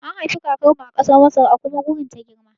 An haifi kakar mu a ƙasar Masar a kuma wurin ta girma